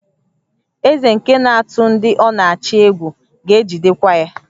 Eze nke na-atụ ndị ọ na-achị egwu ga-ejidekwa ya